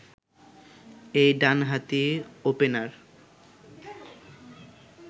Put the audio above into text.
এই ডানহাতি ওপেনার